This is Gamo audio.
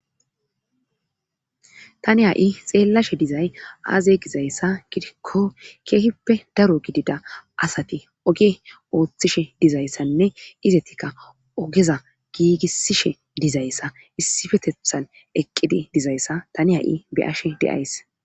Tani ha'i xeellashe dizay aaze gizayssa gidikko keehippe daro gidida asati oge ooththishe dizayssanne izetikka ogeza giigisishe dizayssa issifetethan eqqidi dizayssa tani ha'i beashe deays.